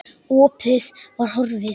Opið var horfið.